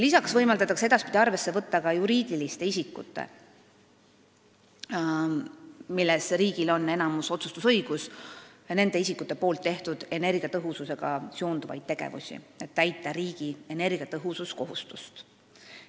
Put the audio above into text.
Lisaks võimaldatakse edaspidi arvesse võtta, mida on teinud need juriidilised isikud, mille puhul riigil on enamusotsustusõigus, energiatõhususe arendamiseks, et täita riigi energiatõhususkohustust.